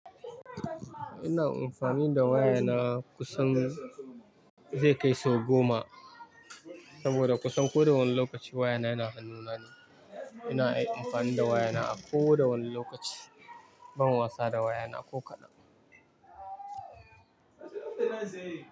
Ina amfani da waya na kusan zai kai sau goma saboda kusan koda wane lokaci waya na yana hannuna ne. Ina ai amfani da waya na a kowane wani lokaci. Ban wasa da waya na ko kaɗan.